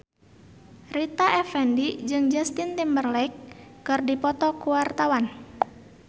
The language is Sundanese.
Rita Effendy jeung Justin Timberlake keur dipoto ku wartawan